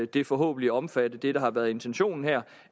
det forhåbentlig omfatte det der har været intentionen her